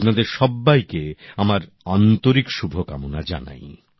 আপনাদের সব্বাইকে আমার আন্তরিক শুভকামনা জানাই